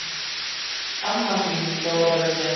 Amma þín, Þórarinn minn.